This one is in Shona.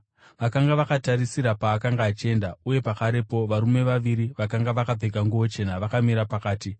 Vakanga vakatarisisa paakanga achienda, uye pakarepo varume vaviri vakanga vakapfeka nguo chena vakamira pavari.